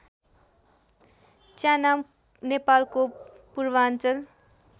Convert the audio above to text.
च्यानाम नेपालको पूर्वाञ्चल